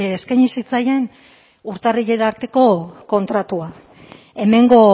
eskaini zitzaien urtarrilera arteko kontratua hemengo